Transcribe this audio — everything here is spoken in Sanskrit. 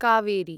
कावेरी